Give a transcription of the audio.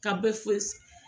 Ka bɛ